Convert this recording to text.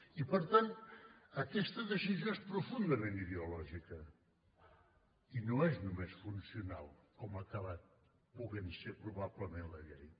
i per tant aquesta decisió és profundament ideològica i no és només funcional com ha acabat podent ser probablement la llei